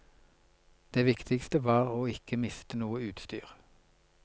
Det viktigste var å ikke miste noe utstyr.